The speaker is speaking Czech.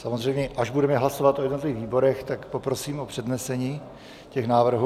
Samozřejmě, až budeme hlasovat o jednotlivých výborech, tak poprosím o přednesení těch návrhů.